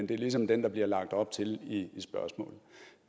det er ligesom det der bliver lagt op til i spørgsmålet